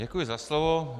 Děkuji za slovo.